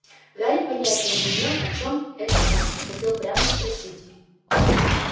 гарри понятия не имел о чем это он и хотел прямо спросить